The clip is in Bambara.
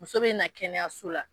Muso bɛna kɛnɛyaso la